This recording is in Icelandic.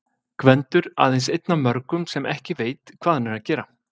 Gvendur- aðeins einn af mörgum sem ekki veit, hvað hann er að gera.